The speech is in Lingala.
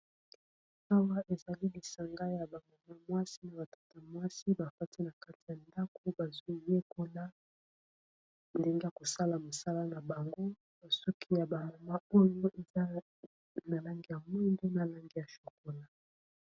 Awa ezali lisanga ya bamama mwasi, na batata mwasi bafati na kati ya ndako bazwi yekola ndenge kosala mosala na bango. Basuki ya bamama oyo eza na langi ya mwindo na langi ya chokola.